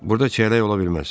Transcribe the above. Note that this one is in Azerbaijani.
Burda çiyələk ola bilməz.